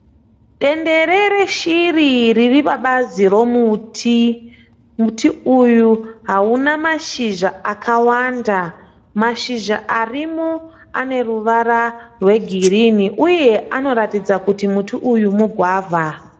Dendere reshiri riri pabazi romuti. Muti uyu hauna mashizha akawanda. Mashizha arimo ane ruvara rwegirinhi uye anoratidza kuti muti uyu mugwavha.